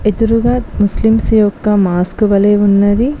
ఎదురుగా ముస్లింస్ యొక్క మాస్క్ వలె ఉన్నది.